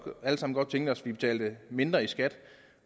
godt tænke os at betale mindre i skat